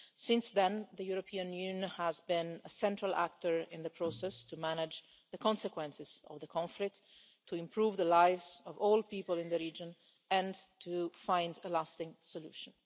Since then, the European Union has been a central actor in the process to manage the consequences of the conflict, to improve the lives of all people in the region and to find a lasting solution.